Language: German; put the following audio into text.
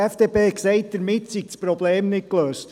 Die FDP hat gesagt, damit sei das Problem nicht gelöst.